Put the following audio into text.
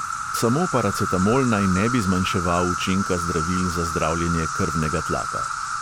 Samo paracetamol naj ne bi zmanjševal učinka zdravil za zdravljenje krvnega tlaka.